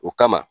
O kama